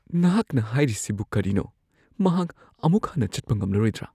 ꯅꯍꯥꯛꯅ ꯍꯥꯏꯔꯤꯁꯤꯕꯨ ꯀꯔꯤꯅꯣ? ꯃꯍꯥꯛ ꯑꯃꯨꯛ ꯍꯟꯅ ꯆꯠꯄ ꯉꯝꯂꯔꯣꯏꯗ꯭ꯔꯥ?